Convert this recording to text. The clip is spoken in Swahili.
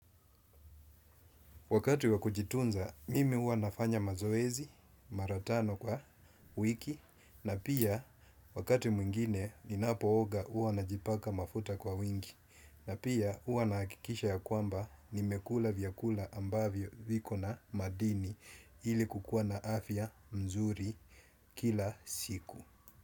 Wakati wakujitunza, mimi huwa nafanya mazoezi, mara tano kwa wiki, na pia wakati mwingine, ninapooga huwa najipaka mafuta kwa wingi, na pia huwa nahakikisha ya kwamba nimekula vyakula ambavyo viko na madini ili kukuwa na afya mzuri kila siku.